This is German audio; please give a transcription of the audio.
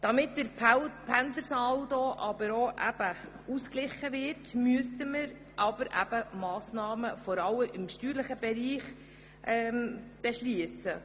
Damit der Pendlersaldo ausgeglichen wird, müssten wir vor allem Massnahmen im steuerlichen Bereich beschliessen.